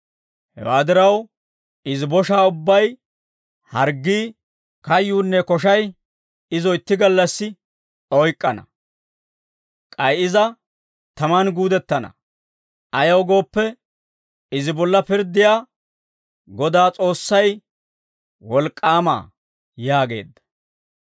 Hewaa diraw, izi boshaa ubbay, harggii, kayyuunne koshay, izo itti gallassi oyk'k'ana. K'ay iza taman guudettana; ayaw gooppe, izi bolla pirddiyaa Godaa S'oossay, Wolk'k'aama» yaageedda.